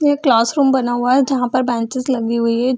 यह क्लासरूम बना हुआ है जहाँ पर बेंचेज लगी हुई है।